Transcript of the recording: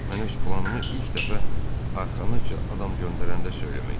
Mən öz planımı ilk dəfə arxanıza adam göndərəndə söyləmək istəyirdim.